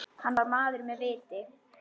Hann var maður með viti.